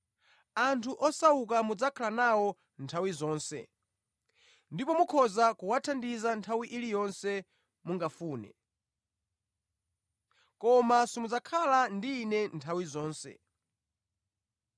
Anthu osauka mudzakhala nawo nthawi zonse, ndipo mukhoza kuwathandiza nthawi iliyonse mungafune. Koma simudzakhala ndi Ine nthawi zonse.